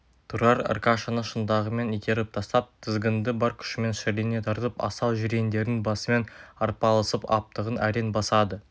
тұрар аркашаны шынтағымен итеріп тастап тізгінді бар күшімен шірене тартып асау жирендердің басымен арпалысып аптығын әрең басады